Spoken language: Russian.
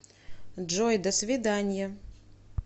джой до свиданья